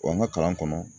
Wa n ka kalan kɔnɔ